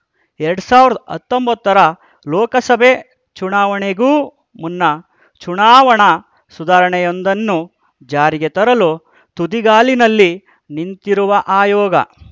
ಎರಡ್ ಸಾವಿರದ ಹತ್ತೊಂಬತ್ತರ ಲೋಕಸಭೆ ಚುನಾವಣೆಗೂ ಮುನ್ನ ಚುನಾವಣಾ ಸುಧಾರಣೆಯೊಂದನ್ನು ಜಾರಿಗೆ ತರಲು ತುದಿಗಾಲಿನಲ್ಲಿ ನಿಂತಿರುವ ಆಯೋಗ